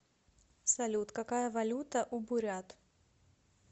салют какая валюта у бурят